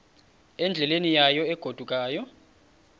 endleleni yayo egodukayo